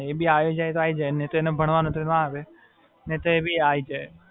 ના એને છેને, એ બી આઈ જાય તો આઈ જાય. નહીં તો એને ભણવાનું હોય તો ના આવે નહીં તો એ બી આઈ જાય.